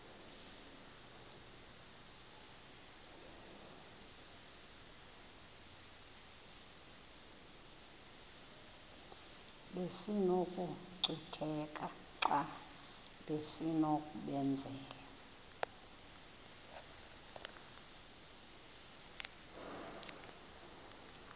besinokucutheka xa besinokubenzela